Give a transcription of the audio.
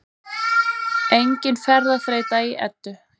Engin ferðaþreyta í Eddu